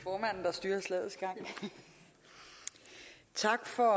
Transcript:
styrer slagets gang tak for